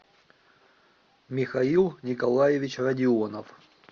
михаил николаевич родионов